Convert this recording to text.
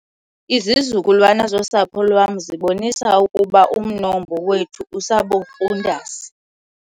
Izizukulwana zosapho lwam zibonisa ukuba umnombo wethu usaburhundasi.